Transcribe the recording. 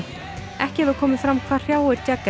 ekki hefur komið fram hvað hrjáir